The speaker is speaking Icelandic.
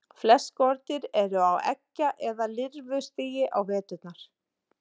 Flest skordýr eru á eggja- eða lirfustigi á veturna.